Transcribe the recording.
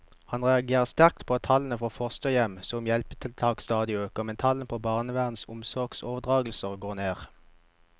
Han reagerer sterkt på at tallene for fosterhjem som hjelpetiltak stadig øker, mens tallene på barnevernets omsorgsoverdragelser går ned.